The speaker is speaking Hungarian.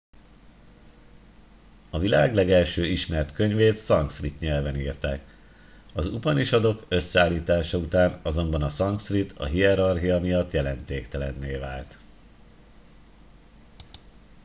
a világ legelső ismert könyvét szanszkrit nyelven írták az upanisadok összeállítása után azonban a szanszkrit a hierarchia miatt jelentéktelenné vált